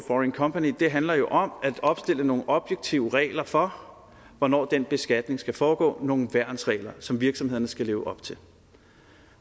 foreign company handler jo om at opstille nogle objektive regler for hvornår den beskatning skal foregå det nogle værnsregler som virksomhederne skal leve op til